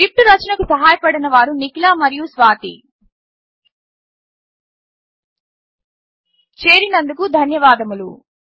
ఈ స్క్రిప్ట్ రచనకు సహాయపడినవారు నిఖిల మరియు స్వాతి చేరినందుకు ధన్యవాదములు